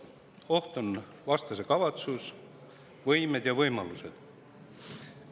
Oht on vastase kavatsus, võimed ja võimalused.